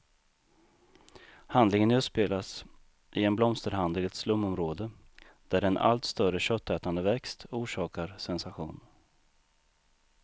Handlingen utspelas i en blomsterhandel i ett slumområde, där en allt större köttätande växt orsakar sensation.